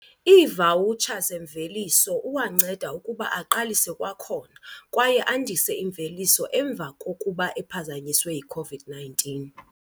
iivawutsha zemveliso uwanceda ukuba aqalise kwakhona, kwaye andise imveliso emva kokuba ephazanyiswe yi-COVID-19.